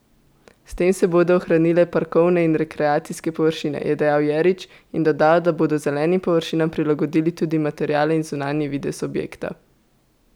S tem se bodo ohranile parkovne in rekreacijske površine, je dejal Jerič in dodal, da bodo zelenim površinam prilagodili tudi materiale in zunanji videz objekta.